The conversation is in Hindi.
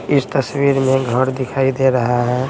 इस तस्वीर में घड़ दिखाई दे रहा है।